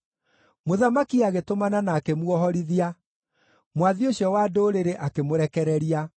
Mũthamaki agĩtũmana na akĩmuohorithia, mwathi ũcio wa ndũrĩrĩ akĩmũrekereria.